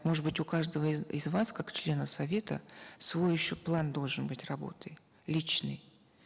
может быть у каждого из вас как члена совета свой еще план должен быть работы личный